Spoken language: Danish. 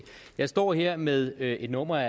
jeg står her med med et nummer af